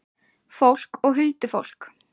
Fólk og huldufólk.